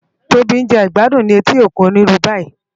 Tobi n je igbàdún ni éti ókún ónirú bàyí